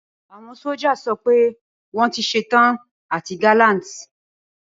Awọn soildiers sọ pe wọn ti ṣetan ati gallant